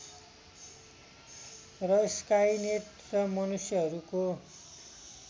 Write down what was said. र स्काइनेट र मनुष्यहरूको